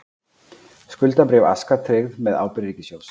Skuldabréf Aska tryggð með ábyrgð ríkissjóðs